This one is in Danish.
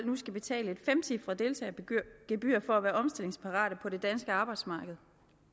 nu skal betale et femcifret deltagergebyr for at være omstillingsparate på det danske arbejdsmarked